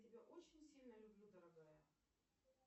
тебя очень сильно люблю дорогая